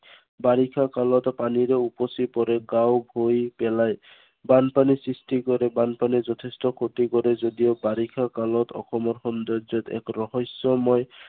বাৰিষা কালত পানীৰে উপচি পৰে। গাওঁ ভুই পেলাই বানপানীৰ সৃষ্টি কৰে। বনাপানীয়ে যথেষ্ট ক্ষতি কৰে যদিও বাৰিষা কালত অসমৰ সৌন্দৰ্যত এক ৰহস্য়ময়